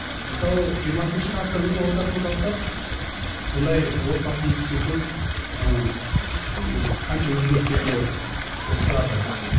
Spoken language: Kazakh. мысалы жиырмасыншы ғасырдың ортасынан бастап бұндай отбасы институты ыыы қанша өзгерістерге ұшырады